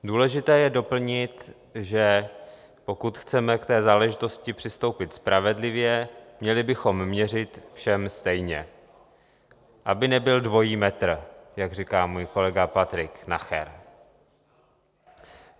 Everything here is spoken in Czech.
Důležité je doplnit, že pokud chceme k té záležitosti přistoupit spravedlivě, měli bychom měřit všem stejně, aby nebyl dvojí metr, jak říká můj kolega Patrik Nacher.